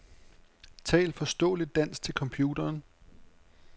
Tal forståeligt dansk til computeren.